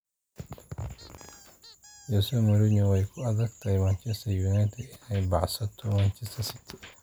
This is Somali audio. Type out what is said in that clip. Jose Mourinho: Way ku adkayd Manchester United inay baacsato Manchester City